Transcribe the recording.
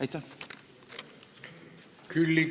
Aitäh!